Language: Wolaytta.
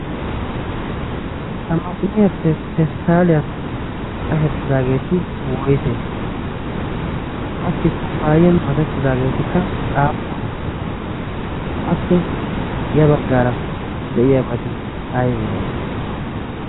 ha maaximiyaappe pesttaaliyan qashettidaageeti woise qassi kubbaayiyan makettidaageetikka aappune appe ya baggaara de7iyaabaati aibe?